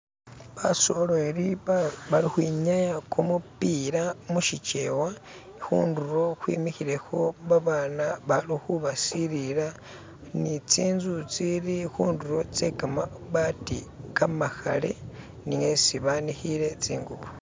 Basoleli bali ukhwinyaya kumupila mushikyewa, khundulo khwemikhilekho babana bali khu basilila ni tsinzu tsili khundulo tse kamabaati kamakhale ni esi banikhile tsingubo.